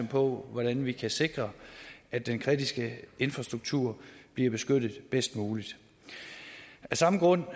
på hvordan vi kan sikre at den kritiske infrastruktur bliver beskyttet bedst muligt af samme grund